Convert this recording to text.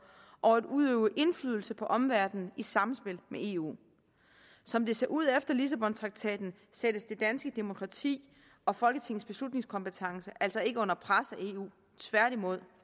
og udøve indflydelse på omverdenen i samspil med eu som det ser ud efter lissabontraktaten sættes det danske demokrati og folketingets beslutningskompetence altså ikke under pres af eu tværtimod